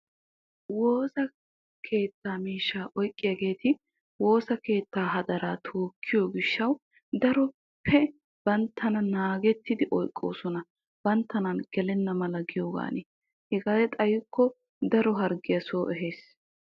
Woosa keettaa miishshaa oyqqiyaageeti woosa keettaa hadaraa tookkiyoo gishshaw daroppe banttana naagettidi oyqqoosona. Banttanan gelenna mala giyoogan. Hegee xayikko daro harggiyaa soo ehees.